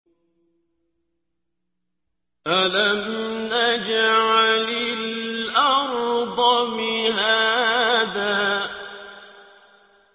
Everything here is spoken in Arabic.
أَلَمْ نَجْعَلِ الْأَرْضَ مِهَادًا